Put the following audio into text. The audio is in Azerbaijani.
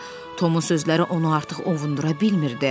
Tomu sözləri onu artıq ovundura bilmirdi.